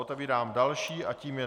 Otevírám další a tím je